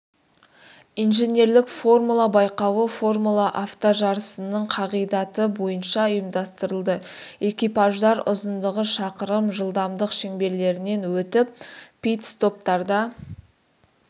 инженерлік формула байқауы формула автожарысының қағидаты бойынша ұйымдастырылды экипаждар ұзындығы шақырым жылдамдық шеңберлерінен өтіп пит-стоптарда